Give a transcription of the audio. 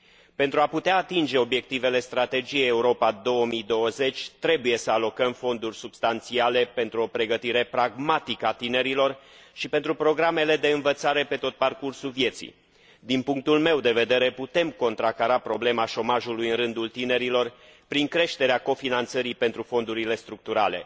Pentru a putea atinge obiectivele Strategiei Europa 2020 trebuie să alocăm fonduri substanțiale pentru o pregătire pragmatică a tinerilor și pentru programele de învățare pe tot parcursul vieții. Din punctul meu de vedere putem contracara problema șomajului în rândul tinerilor prin creșterea cofinanțării pentru fondurile structurale.